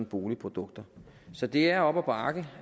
boligprodukter så det er op ad bakke